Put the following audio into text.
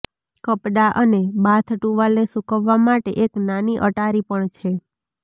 કપડાં અને બાથ ટુવાલને સૂકવવા માટે એક નાની અટારી પણ છે